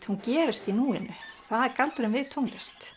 hún gerist í núinu það er galdurinn við tónlist